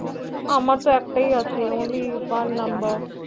আমার তো একটাই আছে Only One Number